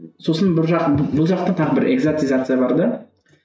сосын жақ бұл жақта тағы бір экзотизация бар да